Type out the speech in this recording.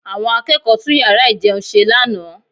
Àwọn akẹ́kọ̀ọ́ tún yàrá ìjẹun ṣe lánàá